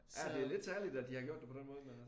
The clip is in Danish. Ja det lidt særligt at de har gjort det på den måde dér